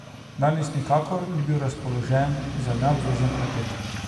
Danes nikakor ni bil razpoložen za neobvezen klepet.